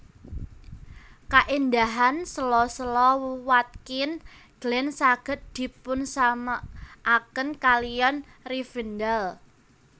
Kaendahahan sèla sèla Watkins Glen saged dipunsamèkaken kaliyan Rivendell